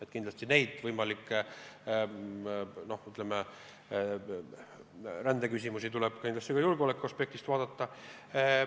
Aga kindlasti võimalikke rändeküsimusi tuleb ka julgeoleku aspektist vaadata.